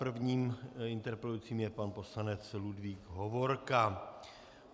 Prvním interpelujícím je pan poslanec Ludvík Hovorka.